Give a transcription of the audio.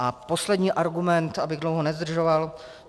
A poslední argument, abych dlouho nezdržoval.